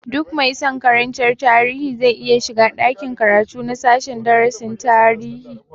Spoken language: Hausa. Duk mai san karantar tarihi zai iya shiga ɗakin karatu na sashen darasin tarihi